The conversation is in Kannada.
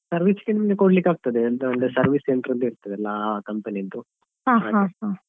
Service ಗೆ ನಿಮ್ಗೆ ಕೊಡ್ಲಿಕ್ಕೆ ಆಗ್ತದೆ ಎಂತ ಅಂದ್ರೆ service centre ಅಲ್ಲಿ ಇರ್ತದಲ್ಲಾ ಆ ಆ company ದ್ದು .